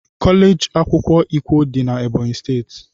kọleji akwukwo ikwo dị na Ebọnyị steeti.